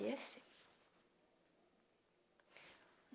E é assim.